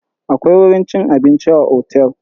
Akwai wurin cin abinci a otel.